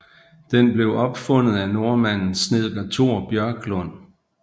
Den blev opfundet af nordmanden snedker Thor Bjørklund